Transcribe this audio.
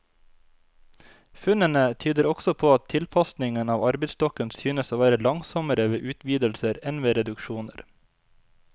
Funnene tyder også på at tilpasningen av arbeidsstokken synes å være langsommere ved utvidelser enn ved reduksjoner.